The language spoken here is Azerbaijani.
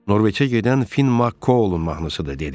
Norveçə gedən Fin Ma-Kouln mahnısıdır dedi.